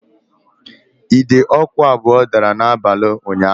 Ide ọkụ abụọ dara n'abalị ụnyaahụ